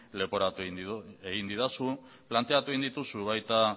leporatu egin didazu planteatu egin dituzu baita